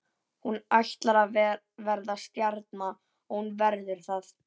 Hún ætlar að verða stjarna og hún verður það.